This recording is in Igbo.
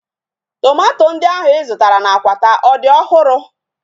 Tomato ndị ahu ị zụtara na Akwata ọ dị ọhụrụ?